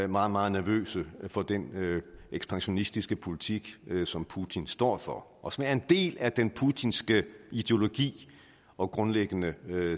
meget meget nervøse for den ekspansionistiske politik som putin står for og som er en del af den putinske ideologi og grundlæggende